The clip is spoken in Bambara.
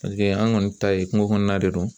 an kɔni ta ye kungo kɔnɔna de ye